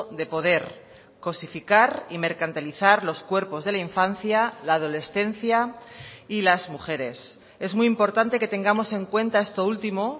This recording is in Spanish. de poder cosificar y mercantilizar los cuerpos de la infancia la adolescencia y las mujeres es muy importante que tengamos en cuenta esto último